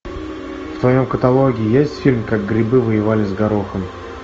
в твоем каталоге есть фильм как грибы воевали с горохом